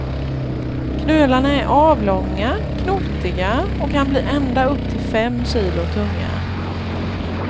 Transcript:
Knölarna är avlånga, knotiga och kan bli ända upp till fem kilo tunga.